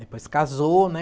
Depois casou, né?